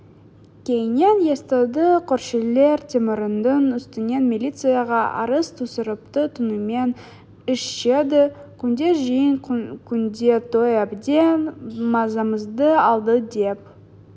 кейіннен естіді көршілер темірдің үстінен милицияға арыз түсіріпті түнімен ішеді күнде жиын күнде той әбден мазамызды алды деп